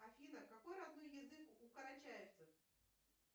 афина какой родной язык у карачаевцев